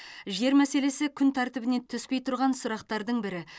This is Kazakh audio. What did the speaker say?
жер мәселесі күн тәртібінен түспей тұрған сұрақтардың бірі